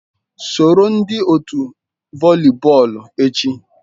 Soro ndị otu voli bọọlụ echi.